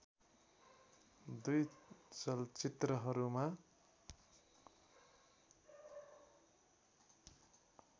दुई चलचित्रहरूमा